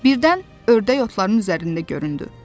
Birdən ördək otların üzərində göründü.